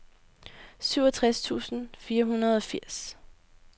syvogtres tusind fire hundrede og firs